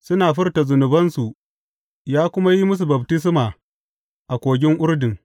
Suna furta zunubansu, ya kuma yi musu baftisma a Kogin Urdun.